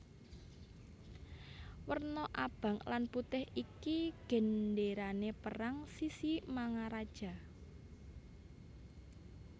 Werna abang lan putih iki gendérané perang Sisingamangaraja